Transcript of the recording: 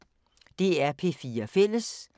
DR P4 Fælles